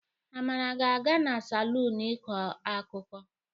Amara ga-aga n'salọnụ ikọ akuko.